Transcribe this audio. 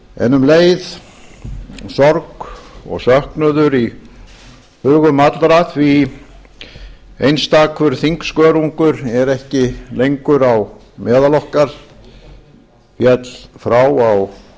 en um leið sorg og söknuður í hugum allra því einstakur þingskörungur er ekki lengur á meðal okkar féll frá á